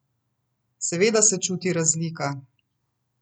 Seveda se čuti razlika.